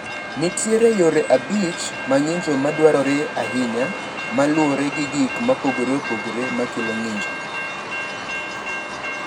Nitie yore abich mag ng’injo ma dwarore ahinya ma luwore gi gik mopogore opogore ma kelo ng’injo.